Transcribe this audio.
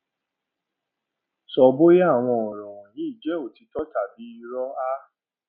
sọ bóyá àwọn ọrọ wọnyí jẹ òtítọ tàbí irọ a